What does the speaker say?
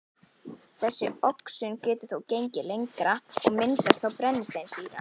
Þessi oxun getur þó gengið lengra, og myndast þá brennisteinssýra